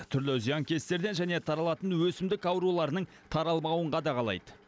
түрлі зиянкестерден және таралатын өсімдік ауруларының таралмауын қадағалайды